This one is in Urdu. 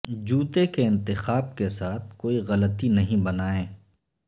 جوتے کے انتخاب کے ساتھ کوئی غلطی نہیں بنائیں